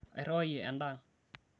airriwayie endaa ang